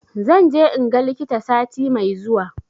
Zan je in ga likita sati mai zuwa